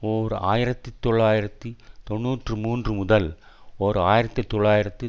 ஓர் ஆயிரத்தி தொள்ளாயிரத்தி தொன்னூற்று மூன்று முதல் ஓர் ஆயிரத்தி தொள்ளாயிரத்து